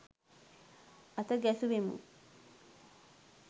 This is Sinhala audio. අත ගැසුවෙමු.